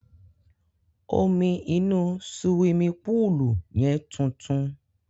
Omi inú suwimi púùlù yẹn tuntun.